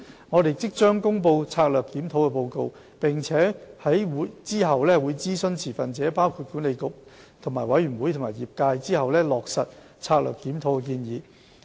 我們即將公布策略檢討報告，並會在諮詢持份者包括管理局及委員會和業界後，落實策略檢討的建議。